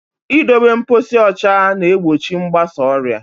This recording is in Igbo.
I dobe mposi ụcha na-egbochi mgbasa ọrịa.